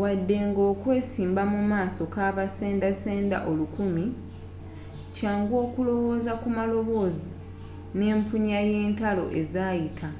wadde nga okwesimba mu maaso gabasenda senda olukumi kyangu okulowooza ku maloboozi n'empunya y'entalo ezaayita